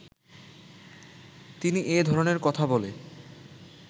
তিনি এ ধরনের কথা বলে